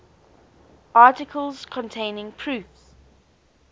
articles containing proofs